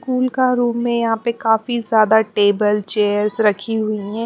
School का room में यहाँ पे काफी ज्यादा टेबल चेयर्स रखी हुई हैं।